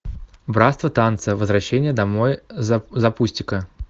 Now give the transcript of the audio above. братство танца возвращение домой запусти ка